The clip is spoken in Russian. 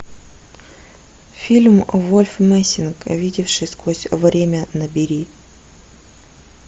фильм вольф мессинг видевший сквозь время набери